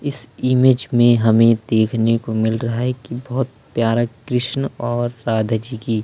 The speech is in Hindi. इस इमेज में हमें देखने को मिल रहा है की बहोत प्यारा कृष्ण और राधा जी की --